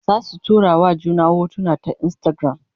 Zasu tura wa juna hotuna ta Instagram